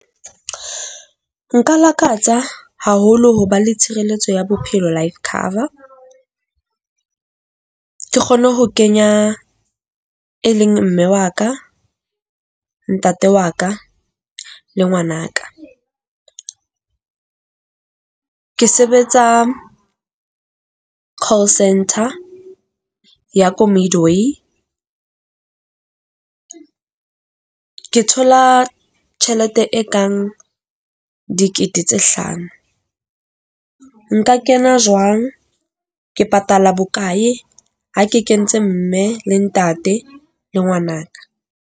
Nka lakatsa haholo ho ba le tshireletso ya bophelo life cover. Ke kgone ho kenya e leng mme wa ka, ntate wa ka le ngwana ka. Ke sebetsa call centre ya ko moloi . Ke thola tjhelete e kang dikete tse hlano. Nka kena jwang? Ke patala bokae ha ke kentse mme le ntate le ngwana ka?